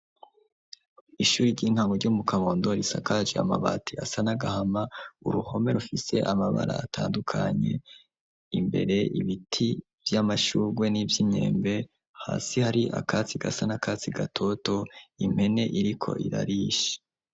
Ishuri ry'inkamu ryo mu kabondo risakaje amabati asa n'agahama uruhome rufise amabara atandukanye. Imbere ibiti vy'amashugwe n'iby'inkembe hasi hari akatsi gasa n'akatsi gatoto impene iriko irarishe.